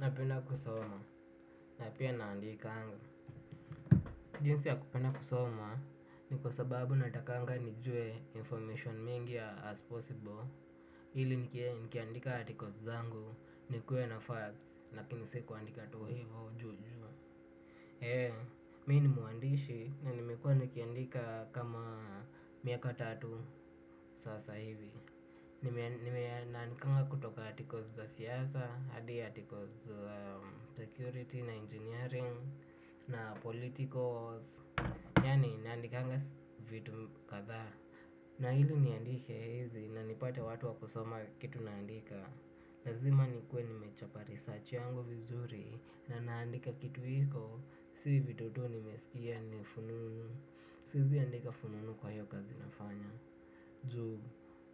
Napenda kusoma, na pia naandikanga. Jinsi ya kupenda kusoma ni kwa sababu natakanga nijue information mingi as possible. Ili nikiandika articles zangu nikue na facts lakini si kuandika tu hivo juu juu. Eee, mi ni mwandishi na nimekuwa nikiandika kama miaka tatu sasa hivi. Nimeandikanga kutoka articles za siasa, hadi articles za security na engineering na political yaani naandikanga vitu kadhaa. Na ili niandike hizi na nipate watu wa kusoma kitu naandika, lazima nikuwe nimechapa research yangu vizuri, na ninaandika kitu iko, si vitu tu nimesikia ni fununu. Siezi andika fununu kwa hiyo kazi nafanya. Juu